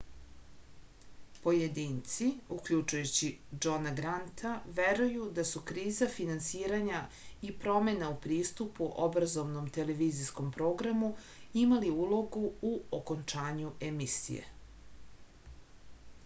pojedinci uključujući džona granta veruju da su kriza finansiranja i promena u pristupu obrazovnom televizijskom programu imali ulogu u okončanju emisije